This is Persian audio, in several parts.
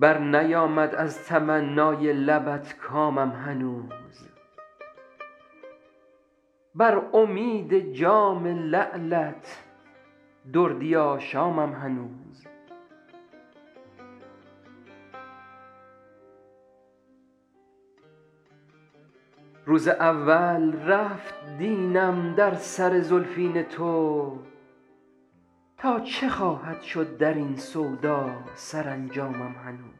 برنیامد از تمنای لبت کامم هنوز بر امید جام لعلت دردی آشامم هنوز روز اول رفت دینم در سر زلفین تو تا چه خواهد شد در این سودا سرانجامم هنوز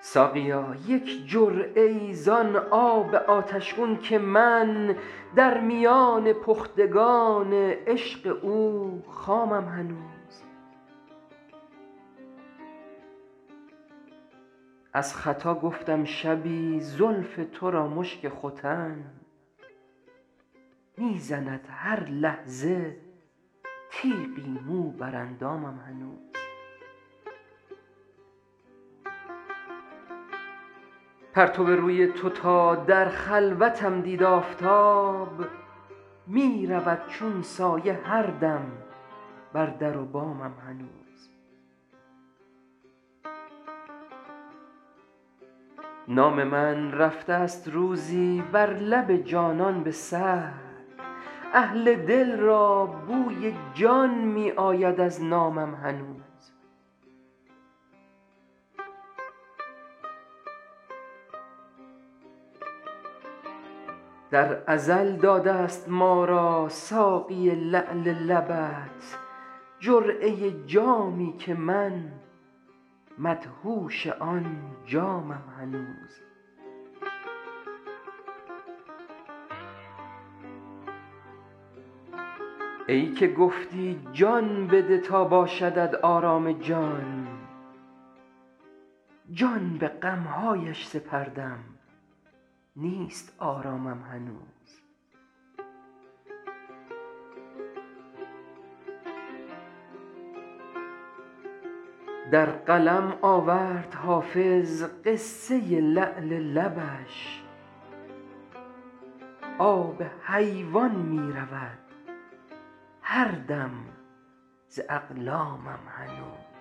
ساقیا یک جرعه ای زان آب آتش گون که من در میان پختگان عشق او خامم هنوز از خطا گفتم شبی زلف تو را مشک ختن می زند هر لحظه تیغی مو بر اندامم هنوز پرتو روی تو تا در خلوتم دید آفتاب می رود چون سایه هر دم بر در و بامم هنوز نام من رفته ست روزی بر لب جانان به سهو اهل دل را بوی جان می آید از نامم هنوز در ازل داده ست ما را ساقی لعل لبت جرعه جامی که من مدهوش آن جامم هنوز ای که گفتی جان بده تا باشدت آرام جان جان به غم هایش سپردم نیست آرامم هنوز در قلم آورد حافظ قصه لعل لبش آب حیوان می رود هر دم ز اقلامم هنوز